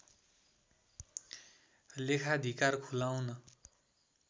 लेखाधिकार खुलाउन